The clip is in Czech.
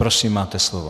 Prosím, máte slovo.